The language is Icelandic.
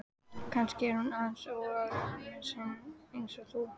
Kannski er hún aðeins óörugg með sig eins og þú.